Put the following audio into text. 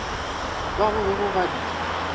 bao ba bego ba di